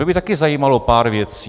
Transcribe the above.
Mě by taky zajímalo pár věcí.